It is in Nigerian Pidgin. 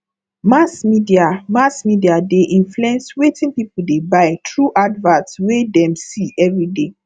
mass media mass media dey influence wetin people dey buy through advert wey dem see every day